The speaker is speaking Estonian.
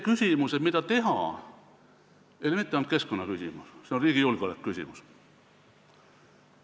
Küsimus, mida teha, ei ole mitte ainult keskkonnaküsimus, see on riigi julgeoleku küsimus.